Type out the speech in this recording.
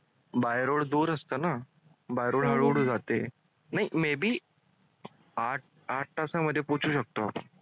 By road दूर असतं ना? हळूहळू जाते may be आठ आठ तासामध्ये पोहोचू शकतो.